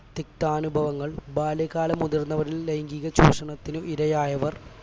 തിക്താനുഭവങ്ങൾ ബാല്യകാലം മുതൽ ലൈംഗീക ചൂഷണത്തിന് ഇരയായവർ